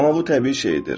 Amma bu təbii şeydir.